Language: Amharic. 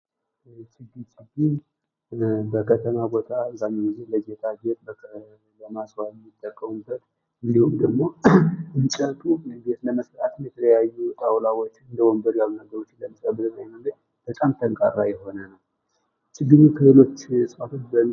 ፅድ በከተማ ቦታ አብዛኛዉን ጊዜ ለጌጣ ጌጥ ለማስዋብ የሚጠቀሙበት እንዲሁም ደግሞ እንጨቱ ቤት ለመስራት የተለያዩ ጣዉላዎች እንደ ወንበር ያሉ ነገሮች ለመስራት በጣም ጠንካራ ነዉ። ችግኙ ከሌሎች እፅዋቶች በምን ይለያል?